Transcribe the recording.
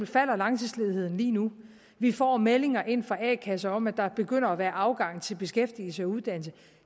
falder langtidsledigheden lige nu vi får meldinger ind fra a kasser om at der begynder at være afgang til beskæftigelse og uddannelse